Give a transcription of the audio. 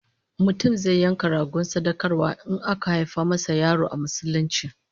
Mutum zai yanka rago sadaukarwa in aka haifa masa yaro a Musulunci